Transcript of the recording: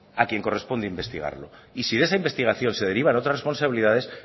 a quien corresponde investigarlo y si de esa investigación se derivan otras responsabilidades